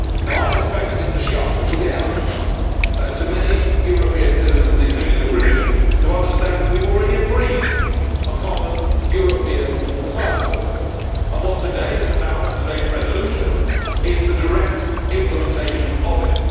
Now I suspect that it would be a hell of a shock to many European citizens, including the British, to understand that we have already agreed a common European asylum system, and what today is about and today's resolution is the direct implementation of it.